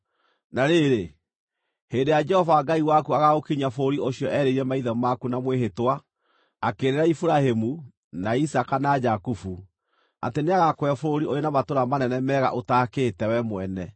Na rĩrĩ, hĩndĩ ĩrĩa Jehova Ngai waku agaagũkinyia bũrũri ũcio erĩire maithe maku na mwĩhĩtwa: akĩĩrĩra Iburahĩmu, na Isaaka, na Jakubu, atĩ nĩagakũhe bũrũri ũrĩ na matũũra manene, mega, ũtaakĩte wee mwene,